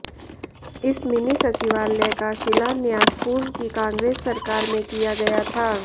इस मिनी सचिवालय का शिलान्यास पूर्व की कांग्रेस सरकार में किया गया था